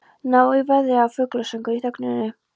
Nauð í veðri eða fuglasöngur í þögninni.